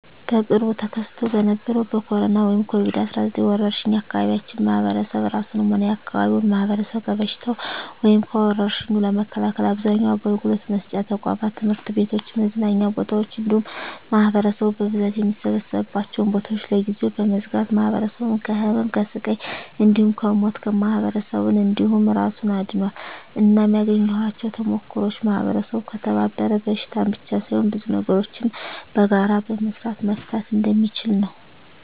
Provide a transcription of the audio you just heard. በቅርቡ ተከስቶ በነበረዉ በኮሮና(ኮቪድ 19) ወረርሽ የአካባቢያችን ማህበረሰብ እራሱንም ሆነ የአካባቢውን ማህበረሰብ ከበሽታዉ (ከወርሽኙ) ለመከላከል አብዛኛዉን አገልግሎት መስጫ ተቋማት(ትምህርት ቤቶችን፣ መዝናኛ ቦታወችን እንዲሁም ማህበረሰቡ በብዛት የሚሰበሰብባቸዉን ቦታወች) ለጊዜዉ በመዝጋት ማህበረሰቡን ከህመም፣ ከስቃይ እንዲሁም ከሞት ማህበረሰብን እንዲሁም እራሱን አድኗል። እናም ያገኘኋቸዉ ተሞክሮወች ማህበረሰቡ ከተባበረ በሽታን ብቻ ሳይሆን ብዙ ነገሮችን በጋራ በመስራት መፍታት እንደሚችል ነዉ።